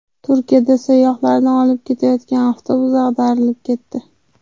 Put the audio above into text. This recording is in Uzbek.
Turkiyada sayyohlarni olib ketayotgan avtobus ag‘darilib ketdi.